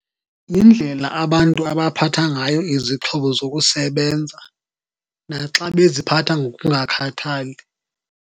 Yindlela abantu abaphatha ngayo izixhobo zokusebenza, naxa beziphatha ngokungakhathali.